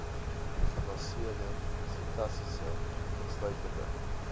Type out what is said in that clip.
gebaseerde setasese insluitende